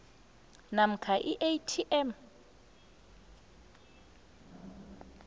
namkha i atm